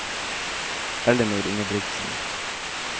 Ellinor Ingebrigtsen